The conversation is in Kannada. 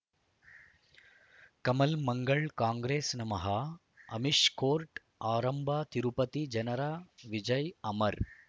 ಕಮಲ್ ಮಂಗಳ್ ಕಾಂಗ್ರೆಸ್ ನಮಃ ಅಮಿಷ್ ಕೋರ್ಟ್ ಆರಂಭ ತಿರುಪತಿ ಜನರ ವಿಜಯ್ ಅಮರ್